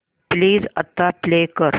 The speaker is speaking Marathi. प्लीज आता प्ले कर